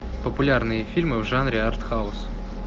популярные фильмы в жанре артхаус